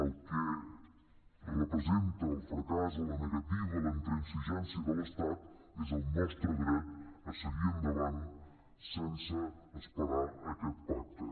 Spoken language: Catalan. el que representa el fracàs o la negativa la intransigència de l’estat és el nostre dret a seguir endavant sense esperar aquest pacte